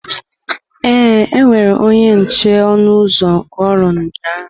Ee, ewere onye nche ọnụ ụzọ n'oru ụnyahụ.